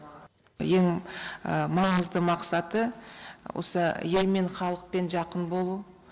ең маңызды мақсаты осы елмен халықпен жақын болу